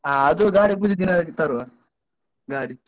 ಹ ಅದು ಗಾಡಿ ಪೂಜೆ ದಿನವೇ ಹೋಗಿ ತರುವ, ಗಾಡಿ.